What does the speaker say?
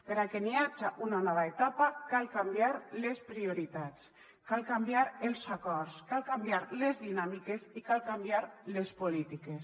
perquè n’hi haja una nova etapa cal canviar les prioritats cal canviar els acords cal canviar les dinàmiques i cal canviar les polítiques